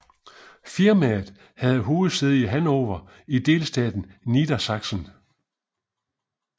Firmaet har hovedsæde i Hannover i delstaten Niedersachsen